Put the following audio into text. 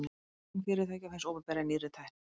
fjárfesting fyrirtækja og hins opinbera í nýrri tækni